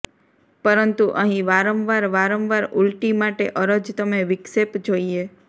પરંતુ અહીં વારંવાર વારંવાર ઉલટી માટે અરજ તમે વિક્ષેપ જોઈએ